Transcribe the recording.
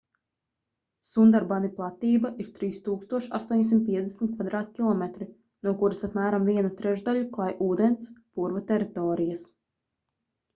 sundarbani platība ir 3850 km² no kuras apmēram vienu trešdaļu klāj ūdens/purva teritorijas